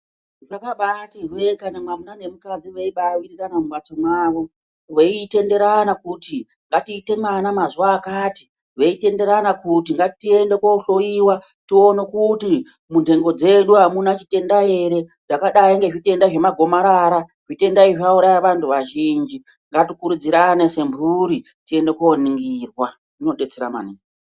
Zvakabatihwe kana mwamuna nemukadzi vebawirirana mumhatso mwavo veitenderana kuti ,ngatiite mwana mazuwa akati ,veitenderana kuti ngatiende kohloiwa tionekuti ,munhengo dzedu adzina zvitenda zvakaita anagomarara. Zvitenda izvi zvauraya vantu azhinji ,ngatikurudzirane semhuri tiende koringirwa zvinodetsera maningi.